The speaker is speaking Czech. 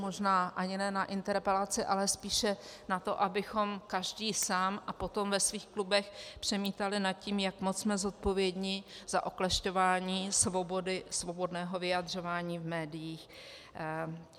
Možná ani ne na interpelaci, ale spíše na to, abychom každý sám a potom ve svých klubech přemítali nad tím, jak moc jsme zodpovědní za oklešťování svobody, svobodného vyjadřování v médiích.